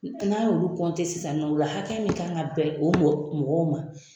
N'an y'olu sisan nɔ , o la hakɛya mun kan ka bɛn o mɔgɔw ma